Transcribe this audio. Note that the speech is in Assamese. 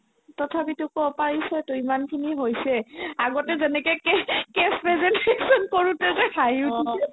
তথাপিতো ক'ব পাৰিছতো ইমানখিনি হৈছে আগতে যেনেকে test ~ test presentation কৰোতে যে হাঁহি উঠিছিল